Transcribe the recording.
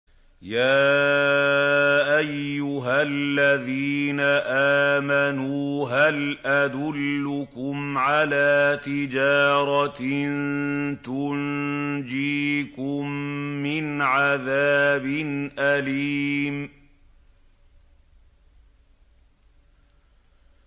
يَا أَيُّهَا الَّذِينَ آمَنُوا هَلْ أَدُلُّكُمْ عَلَىٰ تِجَارَةٍ تُنجِيكُم مِّنْ عَذَابٍ أَلِيمٍ